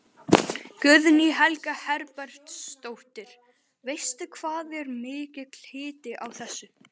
Guðný Helga Herbertsdóttir: Veistu hvað er mikill hiti á þessu?